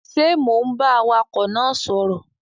Ṣe Mọ ń bá awakọ náà sọrọ?